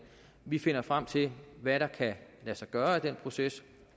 vi finder frem til hvad der kan lade sig gøre i den proces